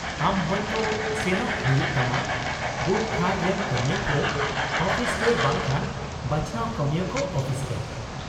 -ᱟᱢ ᱦᱳᱭᱛᱚ ᱥᱮᱱᱚᱜ ᱦᱩᱭᱩᱜ ᱛᱟᱢᱟ ᱵᱩᱛᱷᱼᱛᱷᱟᱨ ᱨᱮᱱ ᱠᱟᱹᱢᱤᱭᱟᱹ ᱠᱚ ᱟᱹᱯᱤᱥᱨᱮ ᱵᱟᱝᱠᱷᱟᱱ ᱵᱟᱪᱷᱱᱟᱣ ᱠᱟᱹᱢᱤᱭᱟᱹ ᱠᱚ ᱟᱹᱯᱤᱥ ᱨᱮ ᱾